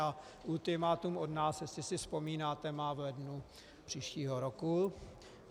A ultimátum od nás, jestli si vzpomínáte, má v lednu příštího roku.